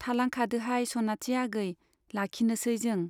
थालांखादोहाय सनाथि आगै , लाखिनोसै जों।